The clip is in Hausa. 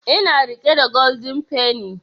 Ina riƙe da golden penny